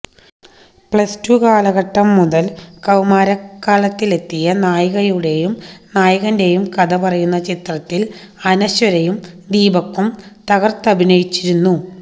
plus two കാലഘട്ടം മുതല് കൌമാരക്കാലത്തിലെത്തിയ നായികയുടെയും നായകന്റെയു കഥ പറയുന്ന ചിത്രത്തില് അനശ്വരയും ദീപക്കും തകര്ത്തഭിനയിച്ചിരുന്നു